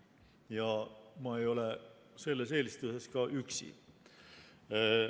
Ja ma ei ole selles eelistuses ka üksi.